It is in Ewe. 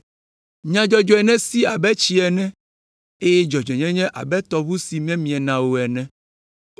Nya dzɔdzɔe nesi abe tsi ene, eye dzɔdzɔenyenye abe tɔʋu si memiena o ene!